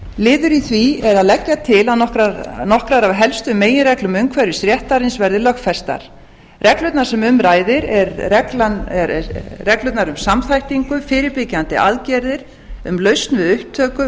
liður í því er að leggja til að nokkrar af helstu meginreglum umhverfisréttarins verði lögfestar reglurnar sem um ræðir eru reglurnar um samþættingu fyrirbyggjandi aðgerðir um lausn við upptöku